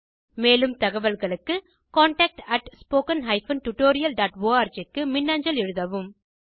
மேலும் தகவல்களுக்கு contactspoken tutorialorg க்கு மின்னஞ்சல் எழுதவும்